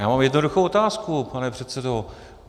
Já mám jednoduchou otázku, pane předsedo.